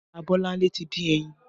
Abolanle ti din ẹyin